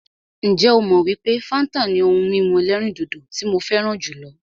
Ǹjẹ́ ó mọ wípé fáńtà ni ohun mímu ẹ̀lẹ́rìndodò tí mo fẹràn jùlọ?